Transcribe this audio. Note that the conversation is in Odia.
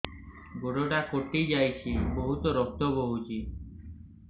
ଗୋଡ଼ଟା କଟି ଯାଇଛି ବହୁତ ରକ୍ତ ବହୁଛି